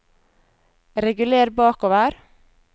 reguler bakover